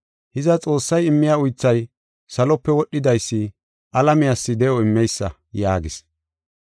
Hiza, Xoossay immiya uythay salope wodhidaysi alamiyas de7o immeysa” yaagis.